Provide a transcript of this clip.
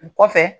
O kɔfɛ